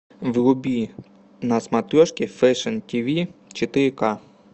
вруби на смотрешке фэшн тв четыре ка